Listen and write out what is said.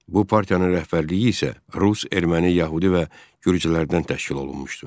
Bu partiyanın rəhbərliyi isə rus, erməni, yəhudi və gürcülərdən təşkil olunmuşdu.